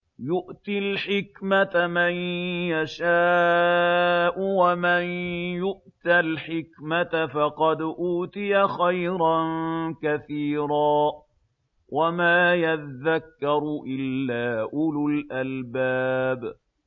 يُؤْتِي الْحِكْمَةَ مَن يَشَاءُ ۚ وَمَن يُؤْتَ الْحِكْمَةَ فَقَدْ أُوتِيَ خَيْرًا كَثِيرًا ۗ وَمَا يَذَّكَّرُ إِلَّا أُولُو الْأَلْبَابِ